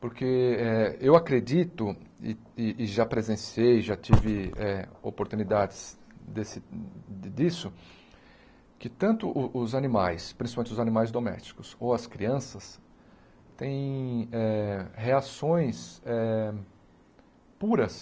Porque eh eu acredito, e e e já presenciei, já tive eh oportunidades desse disso, que tanto os os animais, principalmente os animais domésticos ou as crianças, têm eh reações eh puras.